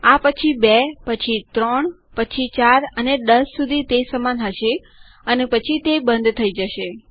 આ પછી 2 પછી 3 પછી 4 અને 10 સુધી તે સમાન હશે અને પછી તે બંધ થઇ જશે